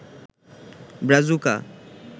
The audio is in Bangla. ব্রাজুকা